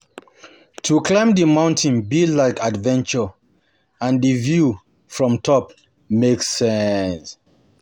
To climb di mountain be like adventure and di view from top make sense.